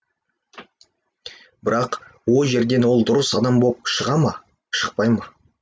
бірақ о жерден ол дұрыс адам боп шыға ма шықпай ма